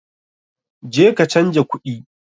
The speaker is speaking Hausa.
Je ka canja kuɗi!